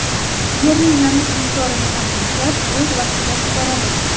Yerning namlik miqdorini ham o‘lchab, o‘z vaqtida sug‘oradi.